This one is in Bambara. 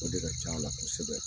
O de ka can la kosɛbɛ